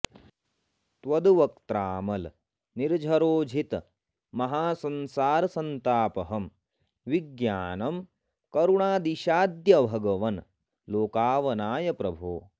त्वद्वक्त्रामल निर्जरोज्झित महासंसार संतापहं विज्ञानं करुणाऽदिशाद्य भगवन् लोकावनाय प्रभो